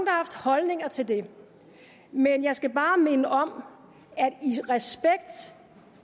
har holdninger til det men jeg skal bare minde om at